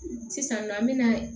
Sisannɔɔ an be na